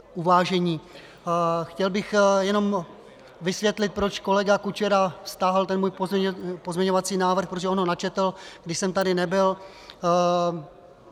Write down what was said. Chtěl bych jen vysvětlit, proč kolega Kučera stáhl ten můj pozměňovací návrh, protože on ho načetl, když jsem tady nebyl.